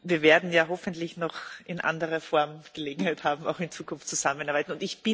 Wir werden ja hoffentlich noch in anderer Form Gelegenheit haben, auch in Zukunft zusammenzuarbeiten.